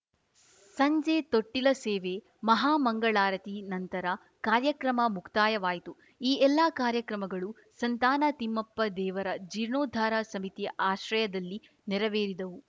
ಸಂಜೆ ತೊಟ್ಟಿಲ ಸೇವೆ ಮಹಾಮಂಗಳಾರತಿ ನಂತರ ಕಾರ್ಯಕ್ರಮ ಮುಕ್ತಾಯವಾಯಿತು ಈ ಎಲ್ಲಾ ಕಾರ್ಯಕ್ರಮಗಳು ಸಂತಾನ ತಿಮ್ಮಪ್ಪ ದೇವರ ಜೀರ್ಣೋದ್ಧಾರ ಸಮಿತಿ ಆಶ್ರಯದಲ್ಲಿ ನೆರವೇರಿದವು